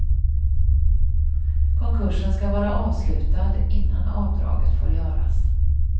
Konkursen ska vara avslutad innan avdraget får göras.